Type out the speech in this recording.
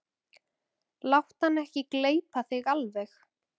Láttu hann ekki gleypa þig alveg!